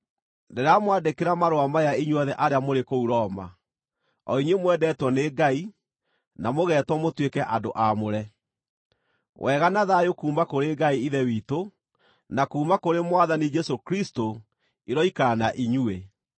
Ndĩramwandĩkĩra marũa maya inyuothe arĩa mũrĩ kũu Roma, o inyuĩ mwendetwo nĩ Ngai, na mũgetwo mũtuĩke andũ aamũre: Wega na thayũ kuuma kũrĩ Ngai Ithe witũ, na kuuma kũrĩ Mwathani Jesũ Kristũ, iroikara na inyuĩ.